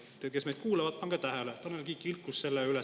Te, kes meid kuulavad, pange tähele: Tanel Kiik ilkus selle üle.